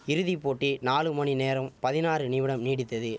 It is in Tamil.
இறுதி போட்டி நாலு மணி நேரம் பதினாறு நிமிடம் நீடித்தது